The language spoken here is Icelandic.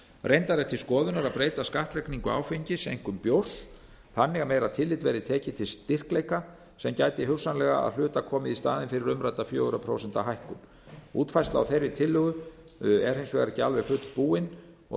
reyndar er til skoðunar að breyta skattlagningu áfengis einkum bjórs þannig að meira tillit verði tekið til styrkleika sem gæti hugsanlega að hluta komið í staðinn fyrir umrædda fjögur prósent hækkun útfærsla á þeirri tillögu er hins vegar ekki alveg fullbúin og